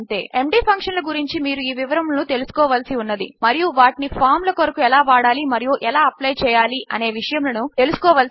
MD function ల గురించి మీరు ఈ వివరములను తెలుసుకోవలసి ఉన్నది మరియు వాటిని ఫామ్ ల కొరకు ఎలా వాడాలి మరియు ఎలా అప్లై చేయాలి అనే విషయములను తెలుసుకోవలసి ఉన్నది